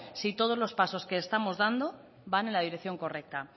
si todos los pasos que estamos dando van en la dirección correcta